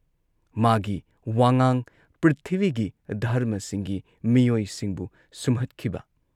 ꯃꯥꯒꯤ ꯋꯥꯉꯥꯡ ꯄ꯭ꯔꯤꯊꯤꯕꯤꯒꯤ ꯙꯔꯃꯁꯤꯡꯒꯤ ꯃꯤꯑꯣꯏꯁꯤꯡꯕꯨ ꯁꯨꯝꯍꯠꯈꯤꯕ !